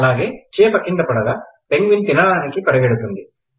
అలాగే చేప క్రింద పడగా పెంగ్విన్ తినడానికి పరిగెడుతుంది